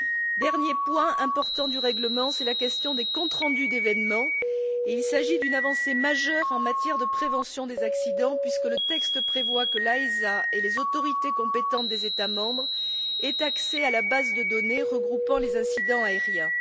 Le dernier point important du règlement est la question des comptes rendus d'événements, et il s'agit d'une avancée majeure en matière de prévention des accidents, puisque le texte prévoit que l'AESA et les autorités compétentes des États membres aient accès à la base de données regroupant les incidents aériens.